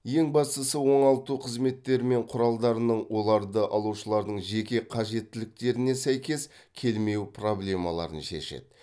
ең бастысы оңалту қызметтері мен құралдарының оларды алушылардың жеке қажеттіліктеріне сәйкес келмеу проблемаларын шешеді